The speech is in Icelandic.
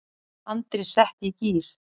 Andri setti í gír.